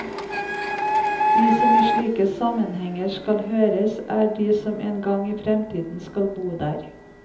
De som i slike sammenhenger aldri høres, er de som en gang i fremtiden skal bo der.